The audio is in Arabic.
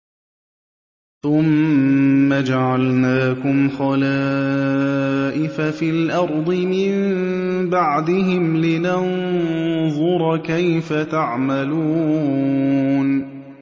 ثُمَّ جَعَلْنَاكُمْ خَلَائِفَ فِي الْأَرْضِ مِن بَعْدِهِمْ لِنَنظُرَ كَيْفَ تَعْمَلُونَ